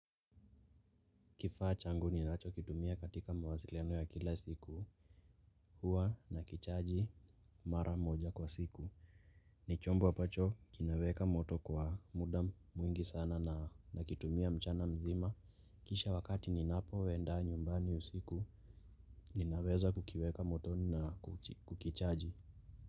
Kifaa changu ninachokitumia katika mawasiliano ya kila siku huwa nakichaji mara moja kwa siku. Ni chombo ambacho kinaweka moto kwa muda mwingi sana na nakitumia mchana mzima. Kisha wakati ninapoenda nyumbani usiku ninaweza kukiweka motoni na kukichaji.